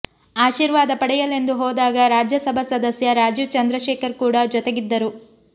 ಆಶೀರ್ವಾದ ಪಡೆಯಲೆಂದು ಹೋದಾಗ ರಾಜ್ಯಸಭಾ ಸದಸ್ಯ ರಾಜೀವ್ ಚಂದ್ರಶೇಖರ್ ಕೂಡ ಜೊತೆಗಿದ್ದರು